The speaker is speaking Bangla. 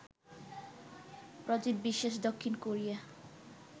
প্রজিত বিশ্বাস, দক্ষিণ কোরিয়া